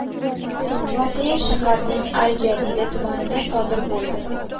Voqea shaharning al-Jadida tumanida sodir bo‘ldi.